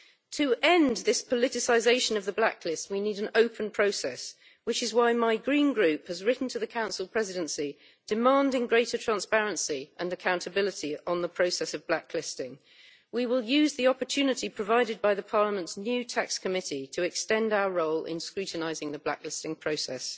To end this politicisation of the blacklist we need an open process, which is why my Green Group has written to the Council Presidency demanding greater transparency and accountability on the process of blacklisting. We will use the opportunity provided by Parliament's new Special Committee on Tax Rulings to extend our role in scrutinising the blacklisting process.